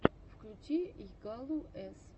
включи йагалу с